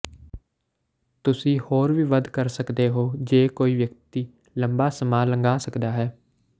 ਤੁਸੀਂ ਹੋਰ ਵੀ ਵੱਧ ਕਰ ਸਕਦੇ ਹੋ ਜੇ ਕੋਈ ਵਿਅਕਤੀ ਲੰਬਾ ਸਮਾਂ ਲੰਘਾ ਸਕਦਾ ਹੈ